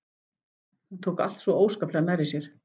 Hún tók allt svona óskaplega nærri sér.